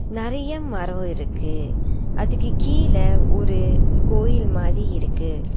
நறைய மரோ இருக்கு அதுக்கு கீழ ஒரு கோயில் மாரி இருக்கு.